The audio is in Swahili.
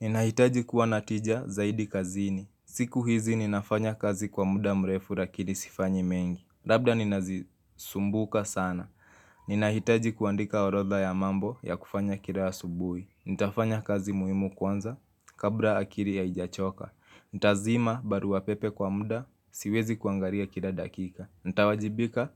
Ninahitaji kuwa na tija zaidi kazini. Siku hizi ninafanya kazi kwa muda mrefu rakili sifanyi mengi. Labda nina zisumbuka sana. Ninahitaji kuandika orodha ya mambo ya kufanya kila asubuhi. Nitafanya kazi muhimu kwanza kabla akili ya haijachoka. Ntazima baru pepe kwa muda siwezi kuangalia kila dakika. Ntawajibika